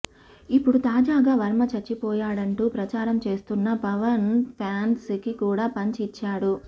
ఇప్పుడు తాజాగా వర్మ చచ్చిపోయాడంటూ ప్రచారం చేస్తున్న పవన్ ఫ్యాన్స్ కి కూడా పంచ్ ఇచ్చాడు